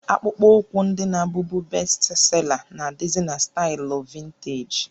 Akpụkpọ ụkwụ ndị na-abụbu bestsela nà adịzị na staịlụ vinteeji